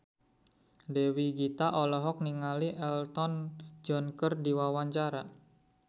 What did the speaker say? Dewi Gita olohok ningali Elton John keur diwawancara